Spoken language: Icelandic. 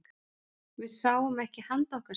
Við sáum ekki handa okkar skil.